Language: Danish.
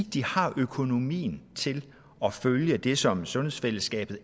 de har økonomien til at følge det som sundhedsfællesskabet